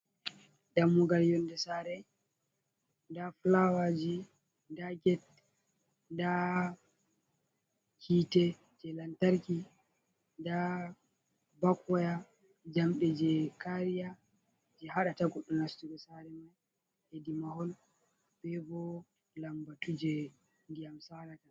Dammugal yonde sare nda fulawaji nda get, nda hite je lantarki, nda bak woya jamɗe je kariya je haɗata goɗɗo nastugo sare mai hedi mahol, bebo lambatu je ndiya salata.